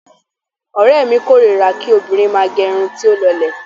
Ọ̀rẹ́mi kórira kí obìnrin máà gẹ irun tí ó lọlẹ̀.